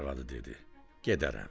Arvadı dedi: gedərəm.